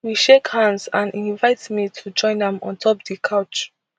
we shake hands and e invite me to join am ontop di couch